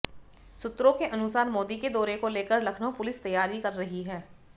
सूत्रों के अनुसार मोदी के दौरे को लेकर लखनऊ पुलिस तैयारी कर रही है